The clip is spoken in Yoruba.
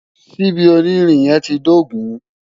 Ṣíbí onírin yẹn ti dógùn-ún.